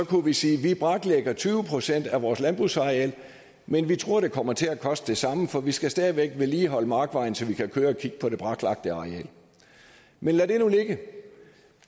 kunne vi sige vi braklægger tyve procent af vores landbrugsareal men vi tror det kommer til at koste det samme for vi skal stadig væk vedligeholde markvejen så vi kan køre og kigge på det braklagte areal men lad det nu ligge